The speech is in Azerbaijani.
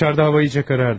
Çöldə hava lap qaraldı.